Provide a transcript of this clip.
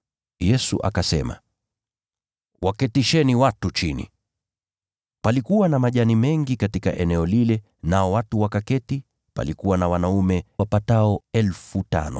Yesu akasema, “Waketisheni watu chini.” Palikuwa na majani mengi katika eneo lile, nao watu wakaketi. Palikuwa na wanaume wapatao 5,000.